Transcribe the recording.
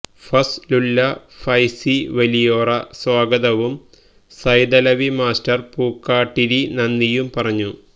ഫസ് ലുല്ല ഫൈസി വലിയോറ സ്വാഗതവും സൈതലവി മാസ്റ്റർ പൂക്കാട്ടിരി നന്ദിയും പറഞ്ഞു